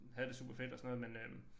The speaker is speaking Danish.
Havde det superfedt og sådan noget men øh